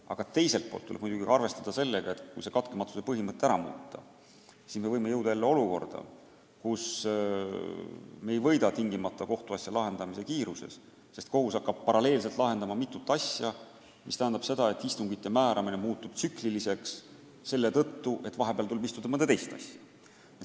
Aga teiselt poolt tuleb muidugi ka arvestada sellega, et kui katkematuse põhimõttest loobuda, siis me võime jõuda olukorda, kus me sugugi ei võida kohtuasja lahendamise kiiruses, sest kohus hakkab paralleelselt lahendama mitut asja, mis tähendab seda, et istungite määramine muutub tsükliliseks, kuna vahepeal tuleb arutada mõnda teist asja.